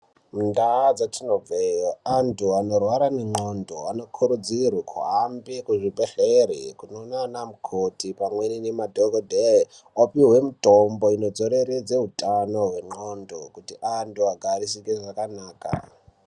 Mundaa dzetinobveyo anthu anorwara ngendxondo anokurudzirwe kuhamba kuzvibhedhlere kunoona ana mukoti pamweni nemadhokodheya opihwe mitombo inodzoreredze utano hwendxondo kuti anthu agarisike zvakanaka.